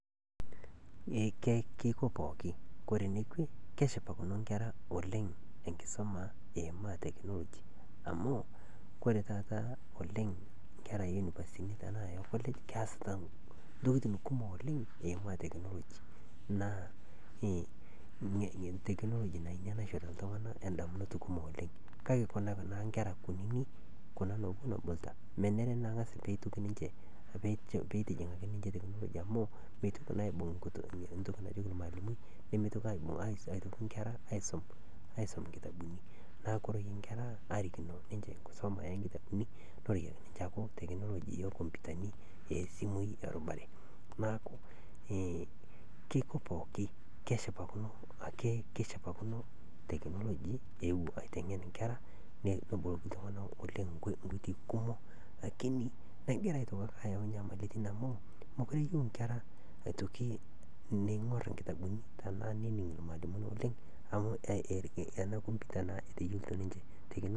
Keiko pooki, kore nekwe keshipakino nkera oleng enkisuma eimaa te amu kore taata Kanyorr anabaye piii amuu kore tanapisha naa kesetii ana, ngoji naipimieki iltungana nkeeya embiitia. Naaku kore ne ene Kanyorr amu kore ena keisho iltungana meteyiolo ayiolou ajo kaata ina imoyian ebiita tanaa maata . Naa kesupat oleng enabaye, Kanyorr nanu amu keicho iltungani meteyiolo keon asioki tanaa keeta moyian. Naa kore abaki tenaaku keeta neitengeni, neishori iltungani ildawai naa duake loiboorie naake iloomat naake meisho metibiko mperot naikash, nelikini indaa nanya ,nelikini ake neiko teneramat biotisho ake osesen lenye eata ina moyian. Naa kore lemeeta nelikini nkoitoi pookin naalo arishie keon inia moyian, naaku Kanyorr nanu anabaye oleng amu kesupat oleng, kebol iltungani, neisho iltungani meshomo te nkoitoi naishaa ,nelikini ltungana nkitengena ena moyian embiitia, entorino ena moyian ebiitia, peeyiolou iltungana neiko peerishe ate.